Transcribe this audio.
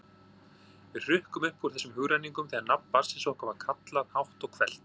Við hrukkum upp úr þessum hugrenningum þegar nafn barnsins okkar var kallað hátt og hvellt.